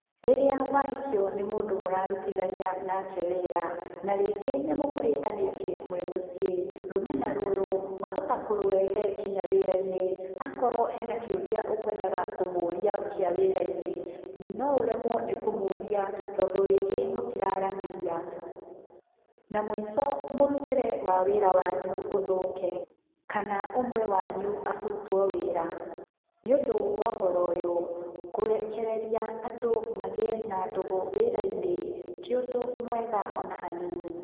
Rĩrĩa wahikio ni mũndũ mũrarutithania nake wĩra, na rĩngĩ nĩ mũkũhĩtanĩtie mwĩ mũciĩ, rũmena rũrũ, wahota kũrũrehe nginya wĩra-inĩ. Akorwo hena kĩũria ũkwendaga kũmũũria kĩa wĩra-inĩ, no ũremwo nĩ kũmũũria tondũ rĩngĩ mũtira aranĩria. Na mũico mũrutĩre wa wĩra wanyu uthũke, kana ũmwe wanyu abutwo wĩra. Nĩũndũ wa ũhoro ũyũ, kũrekereria andũ magĩe na ndũgũ wĩra-inĩ ti ũndũ mwega o na hanini.